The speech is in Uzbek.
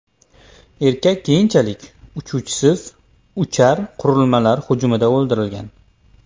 Erkak keyinchalik uchuvchisiz uchar qurilmalar hujumida o‘ldirilgan.